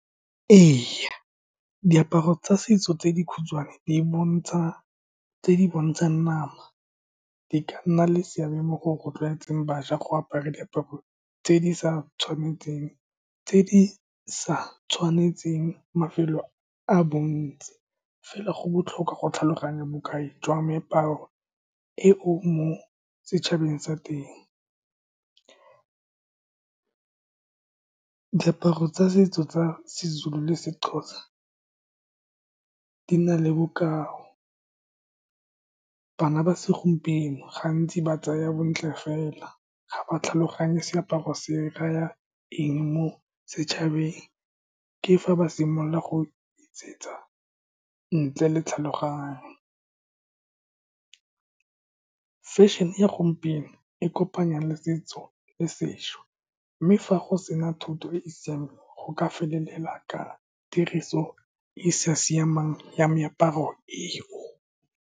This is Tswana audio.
Ee, diaparo tsa setso tse dikhutshwane di bontsha, tse di bontshang nama di ka nna le seabe mo go rotloetseng bašwa go apara diaparo tse di sa tshwanetseng mafelo a bontsi. Fela go botlhokwa go tlhaloganya bokai jwa meaparo e o mo setšhabeng sa teng. Diaparo tsa setso tsa seZulu le seXhosa di na le bokao. Bana ba segompieno gantsi ba tsaya bontle fela, ga ba tlhaloganye seaparo se raya eng mo setšhabeng. Ke fa ba simolola go e tsietsa ntle le tlhaloganyo. Fashion-ne e ya gompieno e kopanya le setso le sesha. Mme fa go sena thuto e e siameng, go ka felela ka tiriso e e sa siamang ya meaparo eo.